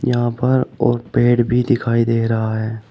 यहां पर और पेड़ भी दिखाई दे रहा है।